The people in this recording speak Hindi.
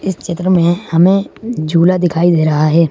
इस चित्र में हमें झूला दिखाई दे रहा है।